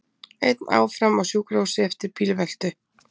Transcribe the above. Einn áfram á sjúkrahúsi eftir bílveltu